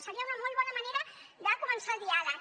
seria una molt bona manera de començar el diàleg